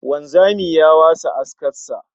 Wanzami ya wasa askar sa